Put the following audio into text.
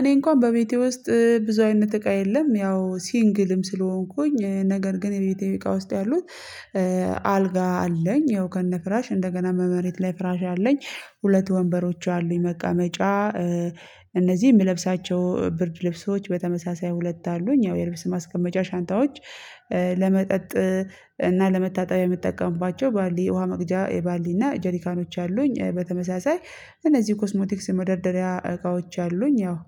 እኔ እንኳን በቤቴ ውስጥ ብዙ አይነት እቃ የለም። ያው ሲንግልም ስለሆንኩኝ ነገር ግን በቤቴ እቃ ውስጥ ያሉት አልጋ አለኝ። ያው ከነ ፍራሽ እንደገና በመሬት ላይ ፍራሽ አለኝ። ሁለት ወንበሮች አሉኝ መቀመጫ። እነዚህ የምለብሳቸው ብርድ ልብሶች በተመሳሳይ ሁለት አሉኝ ያው የልብስ ማስቀመጫ ሻንጣዎች። ለመጠጥ እና ለመታጠቢያ የምጠቀምባቸው ባልዲ ውሃ መቅጃ የባልዲ እና ጀሊካኖች አሉኝ። በተመሳሳይ እነዚህ ኮስሞቲክስ መደርደሪያ እቃዎች አሉኝ። ያው